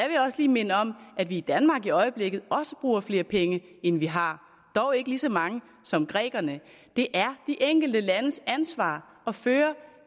jeg også lige minde om at vi i danmark i øjeblikket også bruger flere penge end vi har dog ikke lige så mange som grækerne det er de enkelte landes ansvar at føre